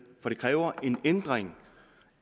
for det kræver en ændring